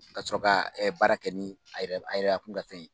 Ka sɔrɔ ka baara kɛ ni a yɛrɛ a yɛrɛ bakun ka fɛn ye.